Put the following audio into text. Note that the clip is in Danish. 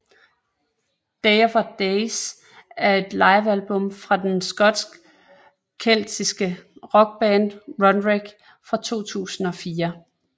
Day of Days er et livealbum fra den skotske keltiske rockband Runrig fra 2004